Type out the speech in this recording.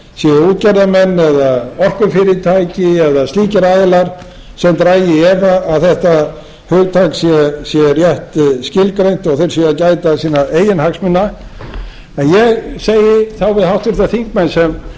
séu útgerðarmenn eða orkufyrirtæki eða slíkir aðilar sem dragi í efa að þetta hugtak sé rétt skilgreint og þeir séu að gæta sinna eigin hagsmuna en ég segi þá við háttvirtir þingmenn sem